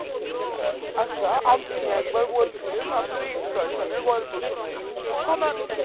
আচ্ছা আপনি একবার বলছিলেন আপনার এই escalation এর গল্প শোনাবেন তো শোনান